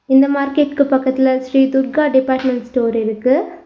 இந்த மார்க்கெட்க்கு பக்கத்துல ஸ்ரீ துர்கா டிபார்ட்மெண்ட் ஸ்டோர் இருக்கு.